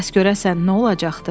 Bəs görəsən nə olacaqdı?